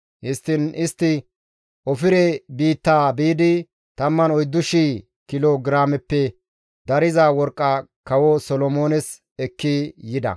Histtiin istti Ofire biittaa biidi 14,000 kilo giraameppe dariza worqqa kawo Solomoones ekki yida.